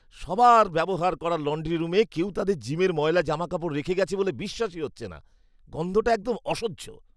সবার ব্যবহার করার লণ্ড্রি রুমে কেউ তাদের জিমের ময়লা জামাকাপড় রেখে গেছে বলে বিশ্বাসই হচ্ছে না। গন্ধটা একদম অসহ্য।